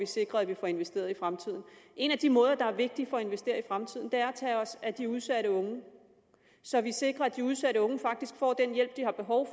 sikrer at man får investeret i fremtiden en af de måder det er vigtigt at investere i fremtiden ved at tage sig af de udsatte unge så vi sikrer at de udsatte unge faktisk får den hjælp de har behov